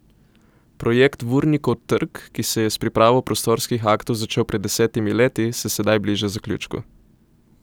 Projekt Vurnikov trg, ki se je s pripravo prostorskih aktov začel pred desetimi leti, se sedaj bliža zaključku.